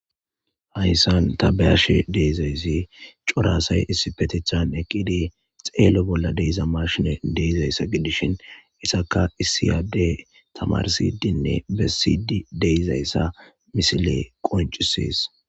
Hayssan tabeyashe deizayssi corasay issi petethan eqqide xeelo bolla deiza marshine deizayssa gidishin isaka isiyade tamarsidinne bessidi deyzayssa misile qoncisees.